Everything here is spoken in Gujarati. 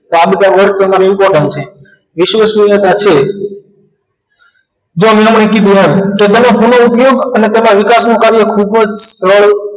તો આ બધા work તમારે important છે વિશ્વાસનીયતા છે જો હમણાં પૈકી ઉપરાંત તેનો અત્યંત ઉપયોગ અને તેના વિકાસનું કાર્ય ખૂબ જ